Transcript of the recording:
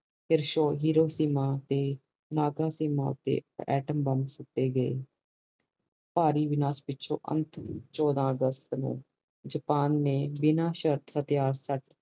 ਮਾਂ ਤੇ ਤੇ ਅਤੇਮਬ ਬੰਬ ਸੁੱਟੇ ਗਏ ਭਾਰੀ ਵਿਨਾਸ਼ ਓਈਚੋ ਅੰਤ ਚੋਦਾ ਅਗਸਤ ਨੂੰ ਜਪਾਨ ਨੇ ਬਿਨਾ ਸ਼ਰਤ ਤੇ ਹਤਿਆਰਾ